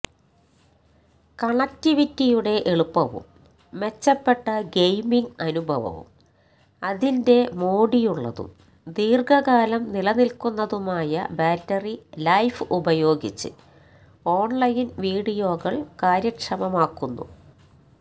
കണക്റ്റിവിറ്റിയുടെ എളുപ്പവും മെച്ചപ്പെട്ട ഗെയിമിംഗ് അനുഭവവും അതിൻറെ മോടിയുള്ളതും ദീർഘകാലം നിലനിൽക്കുന്നതുമായ ബാറ്ററി ലൈഫ് ഉപയോഗിച്ച് ഓൺലൈൻ വീഡിയോകൾ കാര്യക്ഷമമാക്കുന്നു